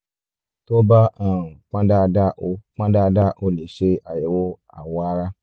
tó bá um pọn dandan o pọn dandan o lè ṣe àyẹ̀wò awọ ara